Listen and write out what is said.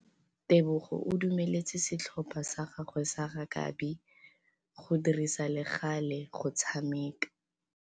Tebogô o dumeletse setlhopha sa gagwe sa rakabi go dirisa le galê go tshameka.